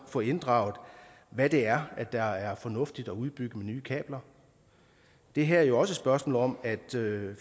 få inddraget hvad det er der er fornuftigt at udbygge med nye kabler det her er jo også et spørgsmål om at